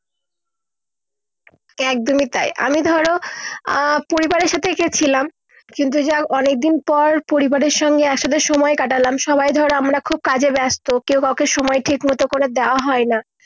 একদমই তাই আমি ধরো আহ পরিবারের সাথে গেছিলাম কিন্তু যা অনেক দিন পর পরিবারের সাথে আসলে সময় কাটালাম সবাই ধরো আমরা কাজে ব্যস্ত কেও কাউকে সময় ঠিক মত করে দেওয়া হয় না